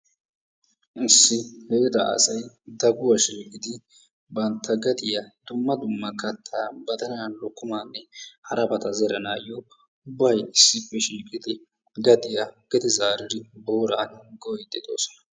Issi heeraa asay daguwaa shiiqidi bantta gadiyaa dumma dumma kattaa badalaa lokkomaanne harabata zeranayoo ubbay issippe shiiqqidi gadiyaa zeranayoo booraa gooyiidi doosona.